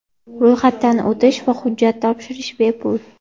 Ro‘yxatdan o‘tish va hujjat topshirish bepul.